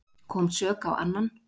Kom sök á annan